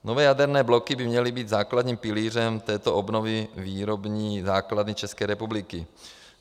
Nové jaderné bloky by měly být základním pilířem této obnovy výrobní základny České republiky.